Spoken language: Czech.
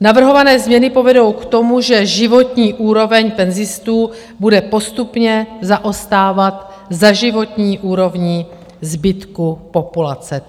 Navrhované změny povedou k tomu, že životní úroveň penzistů bude postupně zaostávat za životní úrovní zbytku populace.